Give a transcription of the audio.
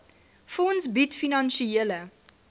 fonds bied finansiële